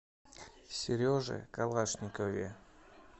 сереже калашникове